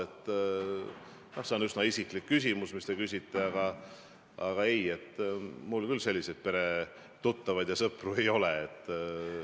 See oli üsna isiklik küsimus, mis te küsisite, aga ei, mul küll selliseid peretuttavad ega sõpru ei ole.